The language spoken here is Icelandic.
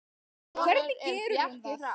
Hvernig gerir hún það?